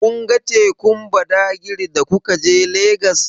Kun ga tekun Badagri da kuka je Legas?